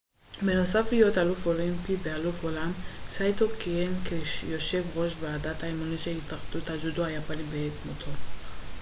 בנוסף להיותו אלוף אולימפי ואלוף העולם סאיטו כיהן כיושב ראש ועדת האימונים של התאחדות הג'ודו היפנית בעת מותו